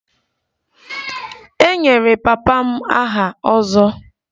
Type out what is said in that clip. E nyere papa m aha 'ozo'